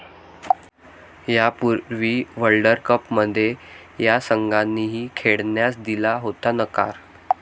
यापूर्वी वर्ल्डकपमध्ये या संघांनीही खेळण्यास दिला होता नकार